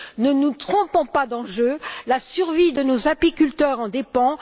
Ne nous trompons pas d'enjeu, la survie de nos apiculteurs en dépend.